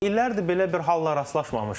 İllərdir belə bir hala rastlaşmamışdıq.